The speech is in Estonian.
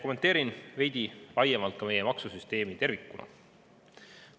Kommenteerin veidi laiemalt ka meie maksusüsteemi tervikuna.